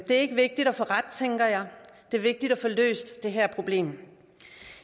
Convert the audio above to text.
ikke vigtigt at få ret tænker jeg det er vigtigt at få løst det her problem